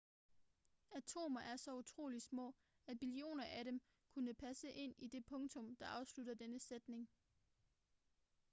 atomer er så utroligt små at billioner af dem kunne passe ind i det punktum der afslutter denne sætning